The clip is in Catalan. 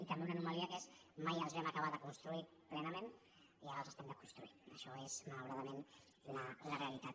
i també una anomalia que és mai els vam acabar de construir plenament i ara els estem desconstruint això és malauradament la realitat